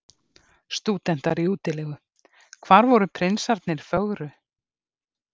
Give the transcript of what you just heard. Stúdentar í útilegu: hvar voru prinsarnir fögru?